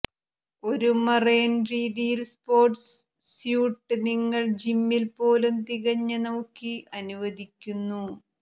ഒരു മറൈൻ രീതിയിൽ sports suit നിങ്ങൾ ജിമ്മിൽ പോലും തികഞ്ഞ നോക്കി അനുവദിക്കുന്നു